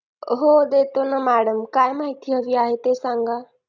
हो देतो ना madam काय माहिती हवी आहे ते सांगा